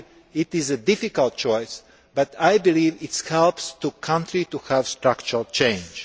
this. It is a difficult choice, but I believe it will help the country to have structural change.